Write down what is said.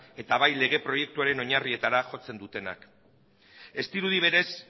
eta bai lege proiektuaren oinarrietara jotzen dutenak ez dirudi berez